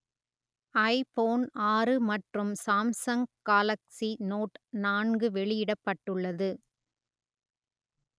ஐ phone ஆறு மற்றும் Samsung Galaxy Note நான்கு வெளியிடப்பட்டுள்ளது